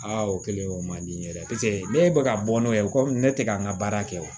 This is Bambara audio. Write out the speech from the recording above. Aa o kɛlen o man di n ye dɛ ne bɛ ka bɔ n'o ye o ko ne tɛ ka n ka baara kɛ wa